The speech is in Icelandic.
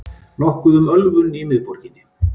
Nokkuð um ölvun í miðborginni